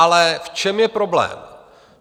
Ale v čem je problém?